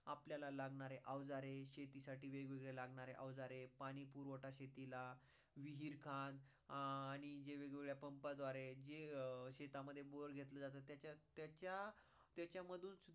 आपल्याला लागणारे अवजारे, शेती साठी लागणारे वेग वेगळे लागणारे अवजारे, पाणी पुरवठा शेतीला, विहीरखान अं आणि वेग वेगळे pump द्वारा जे शेततमध्ये बोर घेतला जात ते त्याचा त्याचा मधून